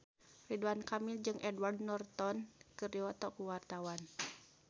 Ridwan Kamil jeung Edward Norton keur dipoto ku wartawan